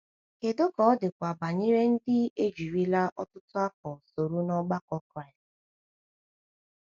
Kedu ka ọ dịkwa banyere ndị ejirila ọtụtụ afọ soro n’ọgbakọ Kraịst?